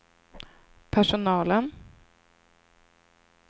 personalen